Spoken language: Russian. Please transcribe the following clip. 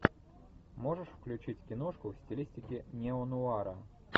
можешь включить киношку в стилистике неонуара